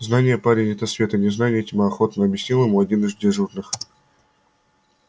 знание парень это свет а незнание тьма охотно объяснил ему один из дежурных